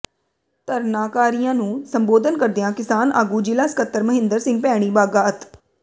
ਧਰਨਾਕਾਰੀਆਂ ਨੂੰ ਸੰਬੋਧਨ ਕਰਦਿਆਂ ਕਿਸਾਨ ਆਗੂ ਜਿਲ੍ਹਾ ਸਕੱਤਰ ਮਹਿੰਦਰ ਸਿੰਘ ਭੈਣੀ ਬਾਘਾ ਅਤ